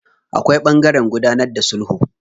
Akwai ɓangaren gudanar da sulhu.